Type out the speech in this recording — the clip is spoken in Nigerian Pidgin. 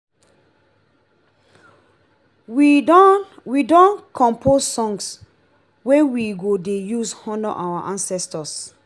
we don we don compose song wey we go dey use honour our ancestors.